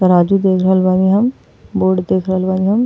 तराजू देख रहल बानीं हम। बोर्ड देख रहल बानी हम।